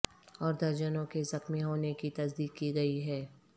اور درجنوں کے زخمی ہونے کی تصدیق کی گئی ہے